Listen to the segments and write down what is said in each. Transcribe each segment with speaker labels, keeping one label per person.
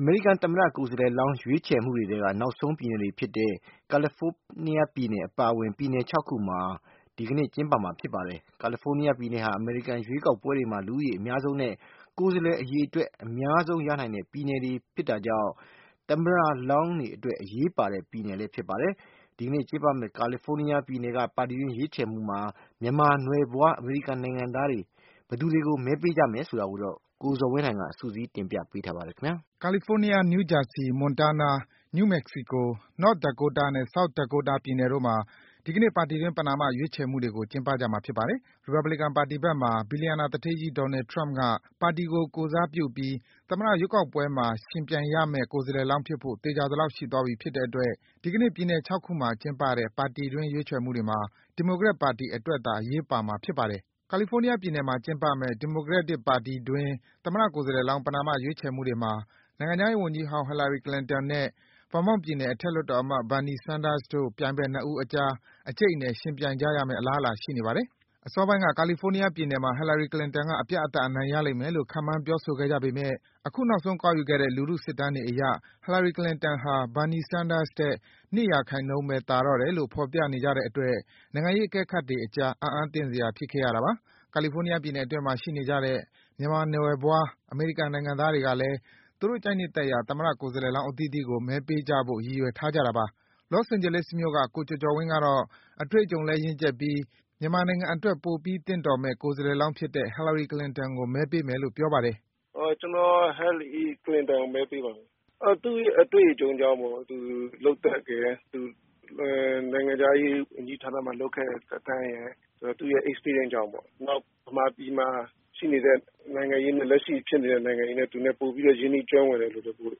Speaker 1: အမေရိကန်သမ္မတ ကိုယ်စားလှယ်လောင်း ရွေးချယ်မှု တွေထဲက နောက်ဆုံး ပြည်နယ်တွေအဖြစ်နဲ့ ကယ်လီဖိုးနီးယား ပြည်နယ် အပါအဝင် ပြည်နယ် ခုနှစ်မှာ ဒီကနေ့ ကျင်းပမှာ ဖြစ်ပါတယ်။ ကာလီဖိုးနီးယား ပြည်နယ်ဟာ အမေရိကန် ရွေးကောက်ပွဲတွေမှာ လူဦးရေအများဆုံးနဲ့ ကိုယ်စားလှယ် အရေအတွက် အများဆုံး ရနိုင်တဲ့ပြည်နယ်ဖြစ်တဲ့ သမ္မတလောင်းတွေအတွက် အရေးပါတဲ့ ပြည်နယ်တခုလည်း ဖြစ်ပါတယ်။ ဒီကနေ့ကျင်းပမယ့် ကာလီဖိုးနီးယားပြည်နယ်က ပါတီတွင်း ရွေးချယ်မှုတွေမှာ မြန်မာနွယ်ဖွား အမေရိကန် နိုင်ငံသားတွေက ဘယ်သူတွေကို မဲပေးကြမယ်ဆိုတာကိုတော့ ကိုဇော်ဝင်းလှိုင်က စုစည်း တင်ပြပေးထားပါတယ်။ California ၊ New Jersey ၊ Montana ၊ New Mexico ၊ North Dakota နဲ့ South Dakota ပြည်နယ်တို့မှာ ဒီကနေ့ ပါတီတွင်း ပဏာမ ရွေးချယ်မှုတွေကို ကျင်းပကြမှာ ဖြစ်ပါတယ်။ ရီပတ်ဘလီကန်ပါတီဖက်မှာ ဘီလီယံနာသူဌေးကြီး Donald Trump က ပါတီကို ကိုယ်စားပြုပြီး သမ္မတရွေးကောက်ပွဲမှာ ယှဉ်ပြိုင်ရမယ့် ကိုယ်စားလှယ် လောင်း ဖြစ်ဖို့ သေချာသလောက် ရှိသွားပြီ ဖြစ်တဲ့အတွက် ဒီကနေ့ ပြည်နယ် ခုမှာ ကျင်းပတဲ့ ပါတီတွင်း ရွေးချယ်မှုတွေဟာ ဒီမိုကရက်ပါတီ အတွက်သာ အရေးပါမှာ ဖြစ်ပါတယ်။ ကာလီဖိုးနီးယားပြည်နယ်မှာ ကျင်းပမယ့် ဒီမိုကရက်တစ်ပါတီတွင်း သမ္မတ ကိုယ်စားလှယ်လောင်း ပဏာမ ရွေးချယ်မှု တွေမှာ နိုင်ငံခြားရေးဝန်ကြီးဟောင်း Hillary Clinton နဲ့ Vermont ပြည်နယ် အထက်လွှတ်တော်အမတ် Bernie Sanders တို့ ပြိုင်ဖက် ၂ ဦးအကြား အကြိတ်အနယ် ယှဉ်ပြိုင်ကြရမယ့် အလားအလာ ရှိနေပါတယ်။ အစောပိုင်းက ကာလီဖိုးနီးယားပြည်နယ်မှာ Hillary Clinton က အပြတ်အသတ် အနိုင်ရလိမ့်မယ်လို့ ခန့်မှန်း ပြောဆိုခဲ့ကြပေမယ့် အခု နောက်ဆုံး ကောက်ယူခဲ့တဲ့ လူထုစစ်တမ်းတွေအရ Hillary Clinton ဟာ Bernie Sanders ထက် ၂% ပဲ သာတော့တယ်လို့ ဖော်ပြနေကြတဲ့အတွက် နိုင်ငံရေးအကဲခတ်တွေအကြား အံ့အားသင့်စရာ ဖြစ်ခဲ့ရတာပါ။ ကာလီဖိုးနီးယားပြည်နယ်အတွင်းမှာ ရှိနေကြတဲ့ မြန်မာနွယ်ဖွား အမေရိကန် နိုင်ငံသားတွေကလည်း သူတို့ ကြိုက်နှစ်သက်ရာ သမ္မတ ကိုယ်စားလှယ်လောင်း အသီးသီးကို မဲပေးကြဖို့ ရည်ရွယ်ထားကြတာပါ။ Los Angeles မြို့က ကိုကျော်ကျော်ဝင်းကတော့ အတွေ့အကြုံလည်း ရင့်ကျက်ပြီး မြန်မာနိုင်ငံအတွက် ပိုပြီးသင့်တော်မယ့် ကိုယ်စားလှယ်လောင်းဖြစ်တဲ့ Hillary Clinton ကို မဲပေးမယ်လို့ ပြောပါတယ်
Speaker 2: ။ “ကျနော် Hillary Clinton ကို မဲပေးပါမယ်။ သူ့အတွေ့အကြုံကြောင့်ပေါ့၊ သူ့လုပ်သက်ရယ်၊ နိုင်ငံခြားရေး ဝန်ကြီးဌာနမှာ လုပ်ခဲ့တဲ့ သက်တမ်းရယ်၊ သူ့ရဲ့ Experience ကြောင့်ပေါ့။ နောက် မြန်မာပြည်မှာ ရှိနေတဲ့ နိုင်ငံရေးနဲ့ လက်ရှိ ဖြစ်နေတဲ့ နိုင်ငံရေးနဲ့ သူနဲ့ ပိုပြီး ရင်းနှီးကျွမ်းဝင်တယ်လို့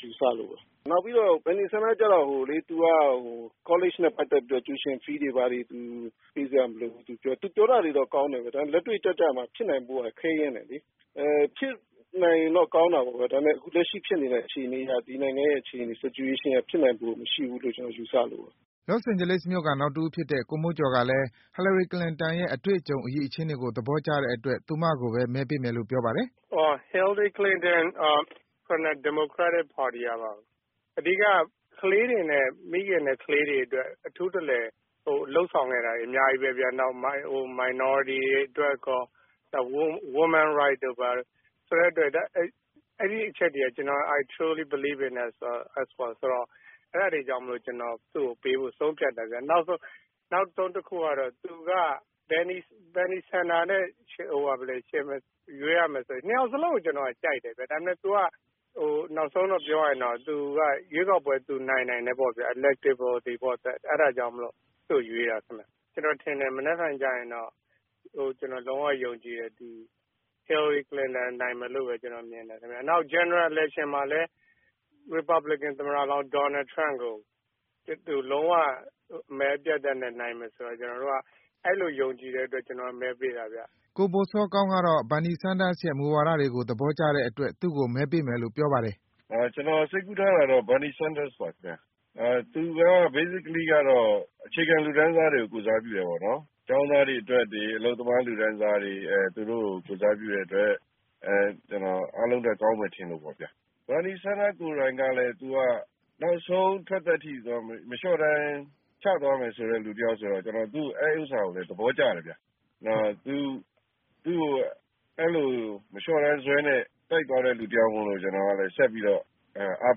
Speaker 2: ယူဆ လို့ပါ။ နောက်ပြီးတော့ Bernie Sanders ကျတော့ သူက ကောလိပ်နဲ့ ပတ်သက်ပြီးတော့ ကျူရှင် ကြေးတွေ ဘာတွေ ပေးစရာ မလိုဘူးလို့ သူပြောတယ်။ သူပြောတာတွေကတော့ ကောင်းပါတယ်။ ဒါပေမယ့် လက်တွေ့ကျကျမှာ ဖြစ်နိုင်ဖို့က ခဲယဉ်း တယ် လေ။ ဖြစ်နိုင်ရင်တော့ ကောင်းတာပေါ့ဗျာ။ ဒါပေမယ့် လက်ရှိဖြစ်နေတဲ့ အခြေအနေအရ ဒီနိုင်ငံရဲ့ အခြေအနေအရ ဖြစ်နိုင်တဲ့အခြေအနေ မရှိဘူးလို့ ကျနော် ယူဆလို့ပါ။
Speaker 1: ” Los Angeles မြို့ခံ နောက်တဦးဖြစ်တဲ့ ကိုမိုးကျော်ကလည်း Hillary Clinton ရဲ့ အတွေ့အကြုံ အရည်အချင်းတွေကို သဘောကျတဲ့အတွက် သူမကိုပဲ မဲပေးမယ်လို့ ပြောပါတယ်
Speaker 3: ။ “Hillary Clinton ၊ ဒီမိုကရက်တစ်ပါတီကပါပဲ။ အဓိကက မိခင်နဲ့ ကလေးတွေအတွက် အထူးတလည် လုပ်ဆောင်ခဲ့တာတွေ အများကြီးပဲဗျ။ ဟို Minority တွေအတွက်ရော၊ နောက် Women Rights တို့ ဘာတို့၊ ဆိုတဲ့အတွက် အဲဒီအချက်တွေက I truly believe in it ဆိုတော့ ၊ အဲဒါတွေကြောင့် ကျနော် သူ့ကို ပေးဖို့ ဆုံးဖြတ်တာ ဗျ။ နောက်ဆုံးတခုကတော့ သူက Bernie Sanders နဲ့ ရွေးရမယ် ဆိုရင်၊ နှစ်ယောက်စလုံးကို ကျနော် ကြိုက်တယ်ဗျ။ နောက်ဆုံးတော့ ပြောရရင်တော့ ရွေးကောက်ပွဲကို သူနိုင်နိုင်တယ်ပေါ့ဗျာ။ အဲဒါကြောင့်မို့လို့ သူ့ကို ရွေးတာခင်ဗျ။ ကျနော်ထင်တယ်၊ မနက်ဖြန်ကျရင်တော့ - ကျနော် လုံးဝယုံကြည်တယ်၊ Hillary Clinton နိုင်မယ်လို့ပဲ ကျနော် မြင်တယ်ခင်ဗျ။ နောက် General election မှာလည်း ရီပတ်ဘလီကန် သမ္မတလောင်း Donald Trump ကို သူ လုံး၀ မဲအပြတ်အသတ်နဲ့ နိုင်မယ်ဆိုတာ ကျနော်တို့က - အဲဒီလို ယုံကြည်တဲ့အတွက် ကျနော်က မဲပေးတာဗျ။
Speaker 1: ” ကိုဘိုစောကောင်းကတော့ Bernie Sanders ရဲ့ မူဝါဒတွေကို သဘောကျတဲ့အတွက် သူ့ကို မဲပေးမယ်လို့ ပြောပါတယ်
Speaker 3: ။ “
Speaker 4: ကျနော် စိတ်ကူးထားတာကတော့ Bernie Sanders ပါခင်ဗျား။ သူက အခြေခံလူတန်းစားတွေကို ကိုယ်စားပြု တယ် ပေါ့နော်။ ကျောင်းသားတွေ အတွက်တွေ၊ အလုပ်သမား လူတန်းစားတွေ၊ သူတို့ကို ကိုယ်စားပြုတဲ့အတွက် ကျနော် အားလုံးထက် ကောင်းမယ်ထင်လို့ပေါ့ဗျာ။ Bernie Sanders ကိုယ်တိုင် ကလည်း သူက နောက်ဆုံး ထွက်သက်အထိ မလျော့တမ်း ချသွားမယ်ဆိုတဲ့ လူတယောက်ဆိုတော့ ကျနော် သူ့ အဲဒီဥစ္စာကိုလည်း သဘောကျတယ်ဗျ။ နောက် အဲဒီလို မလျော့တမ်းဇွဲနဲ့ တိုက်သွားတဲ့ လူတယောက်မို့လို့ ကျနော်ကလည်း ဆက်ပြီးတော့ အဲဒါ အား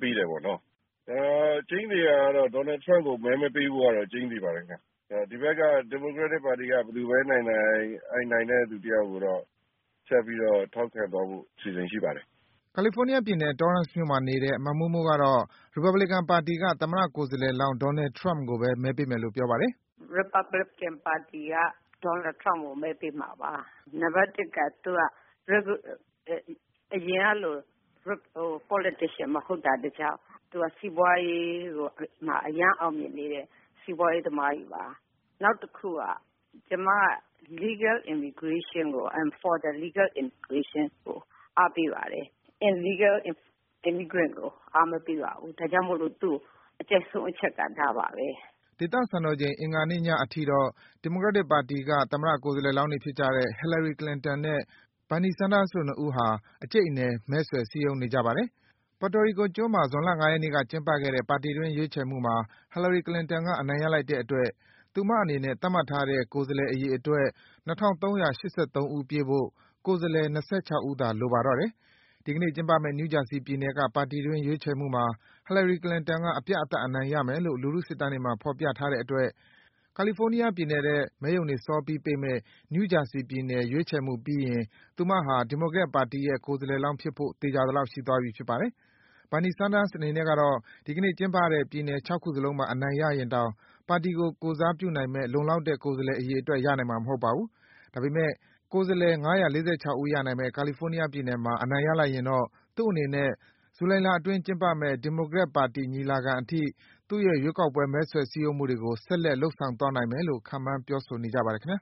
Speaker 4: ပေးတယ်ပေါ့နော့်။ ကျိန်းသေတာကတော့ Donald Trump ကို မဲမပေးဖို့ကတော့ ကျိန်းသေပါတယ်ခင်ဗျ။ ဒီဘက်က ဒီမိုကရက်တစ်ပါတီက ဘယ်သူပဲနိုင်နိုင်၊ အဲဒီ နိုင်တဲ့သူတယောက်ကိုတော့ ဆက်ပြီးတော့ ထောက်ခံသွားဖို့ အစီအစဉ် ရှိပါတယ်။
Speaker 1: ” ကာလီဖိုးနီးယားပြည်နယ်၊ Torrance မြို့မှာနေတဲ့ မမိုးမိုးကတော့ ရီပတ်ဘလီကန် ပါတီက သမ္မတကိုယ်စားလှယ်လောင်း Donald Trump ကို မဲပေးမယ် လို့ ပြောပါတယ်
Speaker 3: ။ “ရီပတ်ဘလီကန်ပါတီက Donald Trump ကို မဲပေးမှာပါ။ နံပတ်တစ်က သူက အရင်ကလို Politician မဟုတ်တာကတကြောင်း၊ သူက စီးပွားရေးမှာ အရမ်းအောင်မြင်နေတဲ့ စီးပွားရေးသမားကြီးပါ။ နောက်တခုက ကျမက Legal immigration (အမေရိကန်ထဲ တရားဝင် လာရောက်နေထိုင်သူ) ကို အားပေးပါတယ်။ Illegal immigrant ကို အားမပေးပါဘူး။ ဒါကြောင့်မို့လို့ သူ့ကို အကြိုက်ဆုံးအချက်က ဒါပါပဲ။
Speaker 1: ” ဒေသစံတော်ချိန် အင်္ဂါနေ့ညအထိတော့ ဒီမိုကရက်ပါတီက သမ္မတ ကိုယ်စားလှယ် လောင်းတွေဖြစ်ကြတဲ့ Hillary Clinton နဲ့ Bernie Sanders တို့ ၂ ဦးဟာ အကြိတ်အနယ် မဲဆွယ် စည်းရုံးနေကြပါတယ်။ Puerto Rico ကျွန်းမှာ ဇွန်လ ၅ ရက်နေ့က ကျင်းပခဲ့တဲ့ ပါတီတွင်း ရွေးချယ်မှုမှာ Hillary Clinton က အနိုင်ရလိုက်တဲ့အတွက် သူမအနေနဲ့ သတ်မှတ်ထားတဲ့ ကိုယ်စားလှယ် အရေအတွက် ၂,၃၈၃ ဦး ပြည့်ဖို့ ကိုယ်စားလှယ် ၂၆ ဦးသာ လိုပါတော့တယ်။ ဒီကနေ့ ကျင်းပမယ့် New Jersey ပြည်နယ်က ပါတီတွင်း ရွေးချယ်မှုမှာ Hillary Clinton က အပြတ်အသတ် အနိုင်ရမယ်လို့ လူထု စစ်တမ်းတွေမှာ ဖော်ပြထားတဲ့အတွက် ကာလီဖိုးနီးယားပြည်နယ်ထက် မဲရုံတွေ စောပြီးပိတ်မယ့် New Jersey ပြည်နယ် ရွေးချယ်မှုပြီးရင် သူမဟာ ဒီမိုကရက်ပါတီရဲ့ ကိုယ်စားလှယ်လောင်း ဖြစ်ဖို့ သေချာသလောက် ရှိသွားပြီ ဖြစ်ပါတယ်။ Bernie Sanders အနေနဲ့ကတော့ ဒီကနေ့ ကျင်းပတဲ့ ပြည်နယ် ခုစလုံးမှာ အနိုင်ရရင်တောင် ပါတီကို ကိုယ်စားပြုနိုင်မယ့် လုံလောက်တဲ့ ကိုယ်စားလှယ် အရေအတွက် ရနိုင်မှာ မဟုတ်ပါဘူး။ ဒါပေမယ့် ကိုယ်စားလှယ် ၅၄၆ ဦးရနိုင်မယ့် ကာလီဖိုးနီးယားပြည်နယ်မှာ အနိုင်ရလိုက်ရင်တော့ သူ့အနေနဲ့ ဇူလိုင်လအတွင်း ကျင်းပမယ့် ဒီမိုကရက် ပါတီညီလာခံအထိ သူ့ရဲ့ ရွေးကောက်ပွဲ မဲဆွယ် စည်းရုံးမှုတွေကို ဆက်လက် လုပ်ဆောင်သွားနိုင်မယ်လို့ ခန့်မှန်း ပြောဆို နေကြ ပါတယ် ခင်ဗျာ